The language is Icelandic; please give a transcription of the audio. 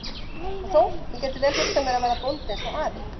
Og þó, ég gæti vel hugsað mér að verða bóndi eins og afi.